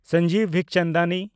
Sanjeev ᱵᱤᱠᱪᱚᱱᱫᱟᱱᱤ